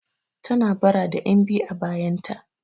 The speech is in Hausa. Tana bara da 'yanbiyu a bayanta.